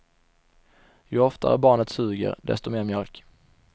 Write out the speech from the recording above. Ju oftare barnet suger, desto mer mjölk.